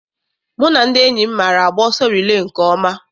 Mụ na ndị enyi m maara agba ọsọ rilee nke ọma.